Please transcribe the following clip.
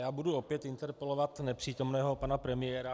Já budu opět interpelovat nepřítomného pana premiéra.